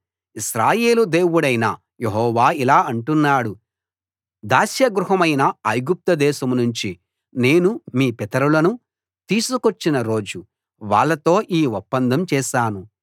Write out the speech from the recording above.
ఇశ్రాయేలు దేవుడైన యెహోవా ఇలా అంటున్నాడు దాస్య గృహమైన ఐగుప్తుదేశం నుంచి నేను మీ పితరులను తీసుకొచ్చిన రోజు వాళ్ళతో ఈ ఒప్పందం చేశాను